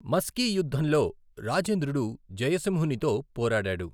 మస్కీ యుద్ధంలో రాజేంద్రుడు జయసింహునితో పోరాడాడు.